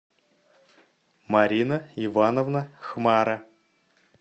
марина ивановна хмара